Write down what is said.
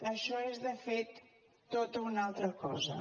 això és de fet tota una altra cosa